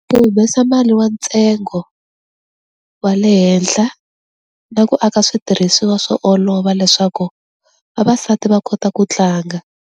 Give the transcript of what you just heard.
Ku humesa mali wa ntsengo wa le henhla na ku aka switirhisiwa swo olova leswaku vavasati va kota ku tlanga.